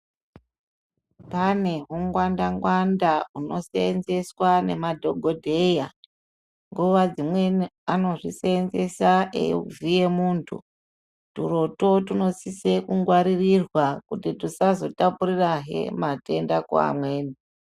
Pane hungwanda ngwanda huno seenzeswa ngemadhokodheya nguwa dzimweni anozviseenzesa eida kuvhiya muntu turotwo tunosisa kungwaririrwa kuti tusazotapurirahe matenda kune amweni.